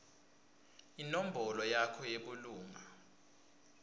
inombolo yakho yebulunga